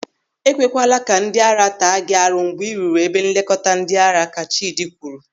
"Ekwe kwala ka ndị ara taa gị mgbe ị rụrụ ebe nlekọta ndịara!" ka Chidi kwuru.